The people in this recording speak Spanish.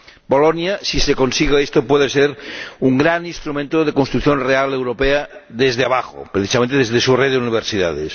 Bolonia, si se consigue esto, puede ser un gran instrumento de construcción real europea desde abajo, precisamente desde su red de universidades.